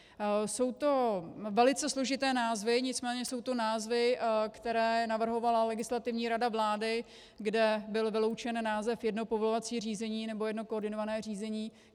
Jsou to velice složité názvy, nicméně jsou to názvy, které navrhovala Legislativní rada vlády, kde byl vyloučen název jedno povolovací řízení nebo jedno koordinované řízení.